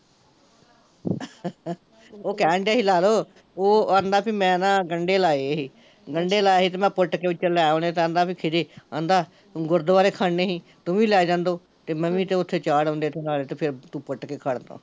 ਓਹ ਕਹਿਣ ਡਿਆ ਸੀ ਲਾਲੋ, ਉਹ ਕਹਿੰਦਾ ਵੀ ਮੈਂ ਨਾ ਗੰਡੇ ਲਾਏ ਸੀ, ਗੰਡੇ ਲਾਏ ਸੀ ਕਹਿੰਦਾ ਤੇ ਮੈਂ ਪੁੱਟ ਕੇ ਵਿੱਚੋਂ ਲੈ ਆਉਣੇ ਕਹਿੰਦਾ ਵੀ ਖਿਚੀ, ਕਹਿੰਦਾ ਗੁਰਦਵਾਰੇ ਖੜਨੇ ਸੀ ਤੂੰ ਵੀ ਲੈਜਾ ਦੋ, ਤੇ ਮੈਂ ਵੀ ਤੇ ਓਥੇ ਚਾਹ ਡਾਉਂਦਿਆ ਤੂੰ ਤੇ ਨਾਲੈ ਪੁੱਟ ਕੇ ਖੜਲਾ